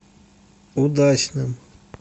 удачным